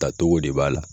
Tacogo de b'a la